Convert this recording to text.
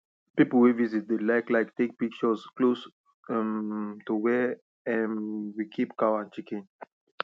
people wey visit dey like like take pictures close um to where um we keep cow and chicken